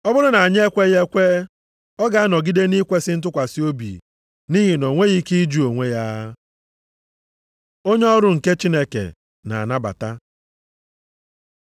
Ọ bụrụ na anyị ekweghị ekwe, ọ ga-anọgide nʼikwesị ntụkwasị obi, nʼihi na o nweghị ike ịjụ onwe ya. Onye ọrụ nke Chineke na-anabata